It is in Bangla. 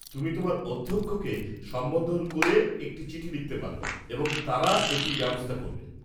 তুমি তোমার অধ্যক্ষকে সম্বোধন করে একটি চিঠি লিখতে পার এবং তারা এটির ব্যবস্থা করবে।